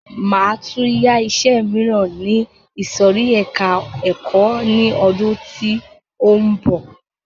Máa tún yá iṣẹ míràn ní ìsòrí ẹka ẹ̀kọ́ ni ọdún tí ó ń bọ̀.